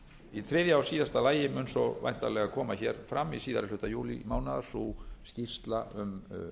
í þriðja og síðasta lagi mun svo væntanlega koma fram í síðari hluta júlímánaðar skýrsla um